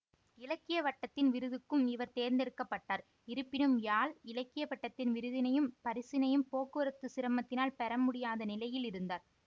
இலக்கிய வட்டத்தின் விருதுக்கும் இவர் தேர்ந்தெடுக்க பட்டார் இருப்பினும் யாழ் இலக்கிய வட்டத்தின் விருதினையும் பரிசினையும் போக்குவரத்து சிரமத்தினால் பெறமுடியாத நிலையில் இருந்தார்